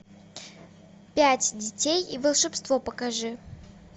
пять детей и волшебство покажи